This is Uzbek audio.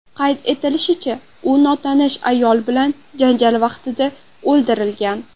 Qayd etilishicha, u notanish ayol bilan janjal vaqtida o‘ldirilgan.